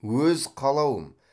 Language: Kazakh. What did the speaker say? өз қалауым